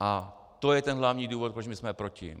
A to je ten hlavní důvod, proč my jsme proti.